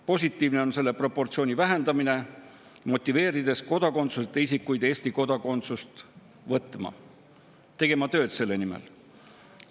Positiivne on selle proportsiooni vähendamine, motiveerides kodakondsuseta isikuid Eesti kodakondsust võtma, tegema tööd selle nimel.